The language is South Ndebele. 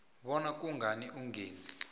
bona kungani ungeze